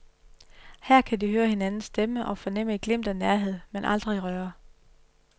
Her kan de høre hinandens stemme og fornemme et glimt af nærhed, men aldrig røre.